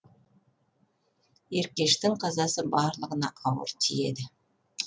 еркештің қазасы барлығына ауыр тиеді